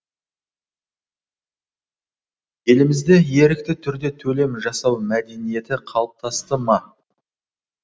елімізде ерікті түрде төлем жасау мәдениеті қалыптасты ма